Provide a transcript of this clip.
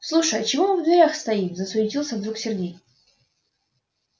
слушай а чего мы в дверях стоим засуетился вдруг сергей